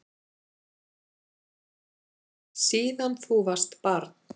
Síðan þú varst barn.